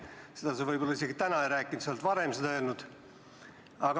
Seda sa võib-olla täna isegi ei rääkinud, küll aga oled seda varem öelnud.